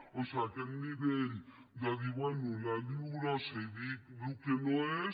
o sigui aquest nivell de dir bé la lio grossa i dic el que no és